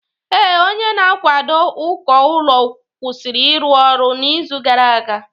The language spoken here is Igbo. Ee, onye na-akwado uko ụlọ kwụsịrị ịrụ ọrụ n'izu gara aga